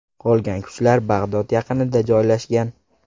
Qolgan kuchlar Bag‘dod yaqinida joylashgan.